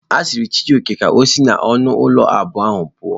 A gwara Chijioke ka o si n'ọnụ ụlọ abụọ a puo.